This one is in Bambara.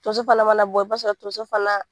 Tonso fana mana bɔ ye i b'a sɔrɔ tonso fana